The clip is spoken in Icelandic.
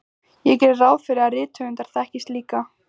Ég geri ráð fyrir að rithöfundar þekkist líka.